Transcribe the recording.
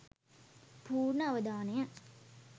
පූර්ණ අවධානය